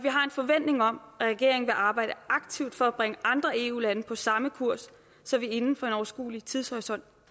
forventning om at regeringen vil arbejde aktivt for at bringe andre eu lande på samme kurs så vi inden for en overskuelig tidshorisont